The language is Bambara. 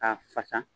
K'a fasa